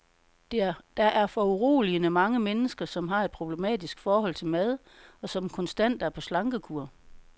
Der er foruroligende mange mennesker, som har et problematisk forhold til mad, og som konstant er på slankekur.